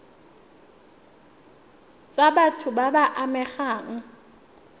tsa batho ba ba amegang